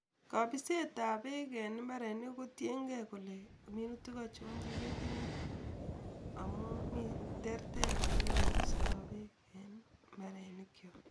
Kabiset ab bek eng imbar kotienkei kole minutik ingorjo chekitinye amu ter Ter olekepistoi mbarenik chok